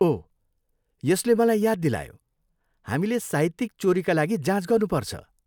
ओह! यसले मलाई याद दिलायो, हामीले साहित्यिक चोरीका लागि जाँच गर्नुपर्छ।